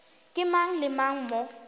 ke mang le mang mo